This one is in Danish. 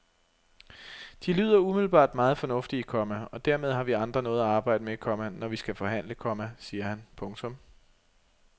De lyder umiddelbart meget fornuftige, komma og dermed har vi andre noget at arbejde med, komma når vi skal forhandle, komma siger han. punktum